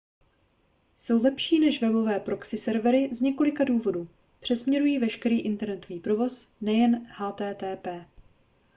jsou lepší než webové proxy servery z několika důvodů přesměrují veškerý internetový provoz nejen http